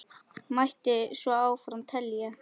Mætti svo áfram telja.